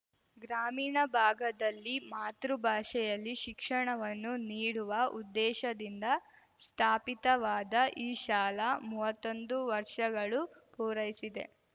ಗ್ರಾಮೀಣ ಭಾಗದಲ್ಲಿ ಮಾತೃ ಭಾಷೆಯಲ್ಲಿ ಶಿಕ್ಷಣವನ್ನು ನೀಡುವ ಉದ್ದೇಶದಿಂದ ಸ್ಥಾಪಿತವಾದ ಈ ಶಾಲ ಮುವ್ವತ್ತೊಂದು ವರ್ಷಗಳು ಪೂರೈಸಿದೆ